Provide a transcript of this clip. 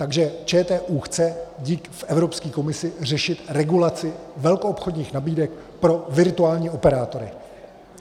Takže ČTÚ chce v Evropské komisi řešit regulaci velkoobchodních nabídek pro virtuální operátory.